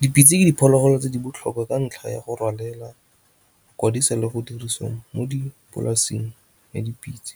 Dipitse ke diphologolo tse di botlhokwa ka ntlha ya go rwalela le go dirisiwa mo dipolaseng ya dipitse.